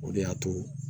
O de y'a to